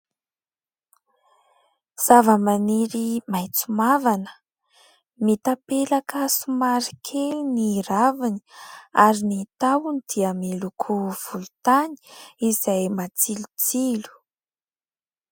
Zava-maniry maitso mavana, mitapelaka somary kely ny raviny ary ny tahony dia miloko volontany izay matsilotsilo.